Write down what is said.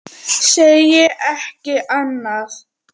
Segi ekki annað.